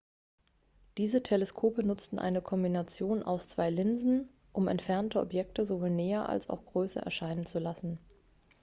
diese teleskope nutzten eine kombination aus zwei linsen um entfernte objekte sowohl näher als auch größer erscheinen zu lassen